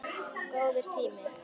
Góður tími.